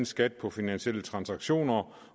skat på finansielle transaktioner